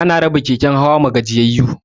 Ana raba keken hawa ma gajiyayu